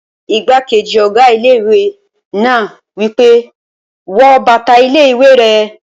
Igbákejì ọ̀gá ilé-ìwé náà wí pé, "wọ bàtà ilé-ìwé rẹ!"